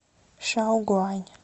шаогуань